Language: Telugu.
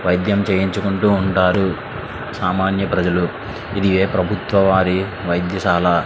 వైద్యం చేయించు కుంటూ ఉంటారు సామాన్య ప్రజలు ఇది ఏ ప్రభుత్వ వారి వైద్యశాల.